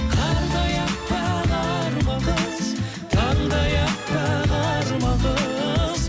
қардай әппақ арман қыз таңдай әппақ арман қыз